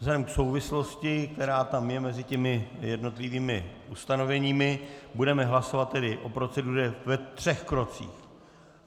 Vzhledem k souvislosti, která tam je mezi těmi jednotlivými ustanoveními, budeme hlasovat tedy o proceduře ve třech krocích.